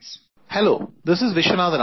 "Hello, this is Viswanathan Anand